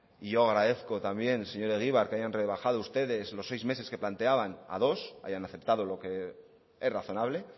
y yo agradezco también señor egibar que hayan rebajado ustedes los seis meses que planteaban a dos ahí han aceptado lo que es razonable